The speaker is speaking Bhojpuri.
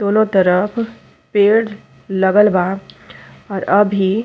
दोनों तरफ पेड़ लगल बा और अभी --